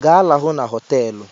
Ga, lahụ n'hoteelu!